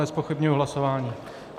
Nezpochybňuji hlasování.